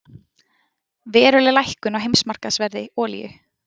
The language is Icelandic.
Veruleg lækkun á heimsmarkaðsverði á olíu